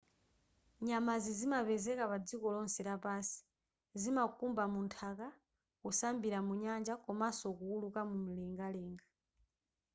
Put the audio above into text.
nyamazi zimapezeka padziko lonse lapansi zimakumba munthaka kusambira mu nyanja komanso kuwuluka mumlengalenga